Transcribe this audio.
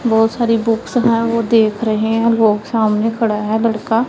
बहोत सारी बुक्स है वो देख रहे है वो सामने खड़ा है लड़का--